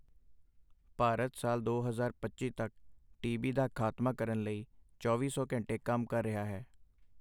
ਭਾਰਤ ਸਾਲ ਦੋ ਹਜ਼ਾਰ ਪੱਚੀ ਤੱਕ ਟੀਬੀ ਦਾ ਖਾਤਮਾ ਕਰਨ ਲਈ ਚੌਵੀ ਸੌ ਘੰਟੇ ਕੰਮ ਕਰ ਰਿਹਾ ਹੈੇ।